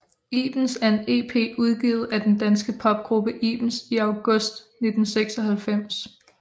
ibens er en ep udgivet af den danske popgruppe ibens i august 1996